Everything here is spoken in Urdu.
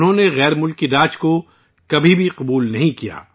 انہوں نے غیر ملکی حکومت کو کبھی قبول نہیں کیا